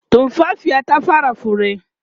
tumfafiyar ta kusa fara fure